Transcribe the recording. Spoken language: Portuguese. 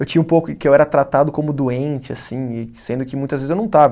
Eu tinha um pouco que eu era tratado como doente assim e, sendo que muitas vezes eu não estava.